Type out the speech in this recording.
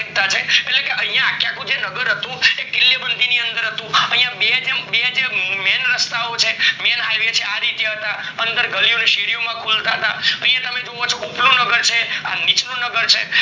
એકતા છે યા અખો જે નગર હતું એ કિલે બંધ અનાદર હતું યા બે જેમ જે main રસ્તા ઓ છે main highway છે આ રીતે હતા અંદર ગલીઓ ને શેરી માં કુલ જાત ના તમે યા જોવો છો ઉપર નો નગર છે આ નીચલું નગર છે